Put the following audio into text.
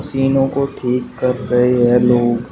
टीनो को ठीक कर रहे हैं लोग।